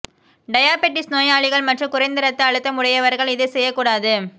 diabetes நோயாளிகள் மற்றும் குறைந்த இரத்த அழுத்தம் உடையவர்கள் இதை செய்யக் கூடாது